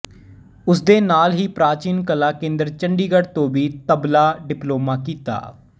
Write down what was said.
ਉਸਦੇ ਨਾਲ ਹੀ ਪ੍ਰਾਚੀਨ ਕਲਾ ਕੇਂਦਰ ਚੰਡੀਗੜ੍ਹ ਤੋਂ ਵੀ ਤਬਲਾ ਡਿਪਲੋਮਾ ਕੀਤਾ